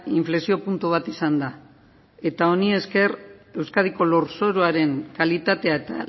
inflexio puntu bat izan da eta honi esker euskadiko lurzoruaren kalitatea eta